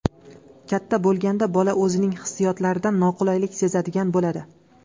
Katta bo‘lganda bola o‘zining hissiyotlaridan noqulaylik sezadigan bo‘ladi.